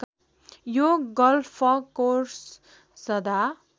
यो गल्फकोर्स सदा